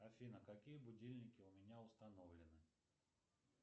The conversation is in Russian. афина какие будильники у меня установлены